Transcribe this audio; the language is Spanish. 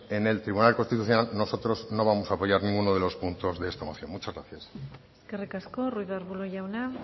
en el tribunal constitucional nosotros no vamos a apoyar ninguno de los puntos de esta moción muchas gracias eskerrik asko ruiz de arbulo jauna